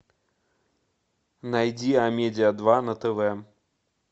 найди амедиа два на тв